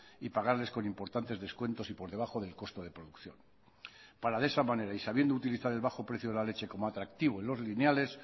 y pagarles con importantes descuentos y por debajo del costo de producción para de esa manera y sabiendo utilizar el bajo precio de la leche como atractivo en los lineales